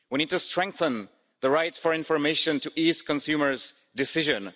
We need to strengthen the right for information to ease consumer's decisions.